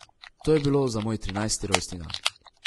To je bilo za moj trinajsti rojstni dan.